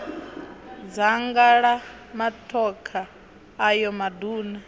dzanga la matokha ayo maduna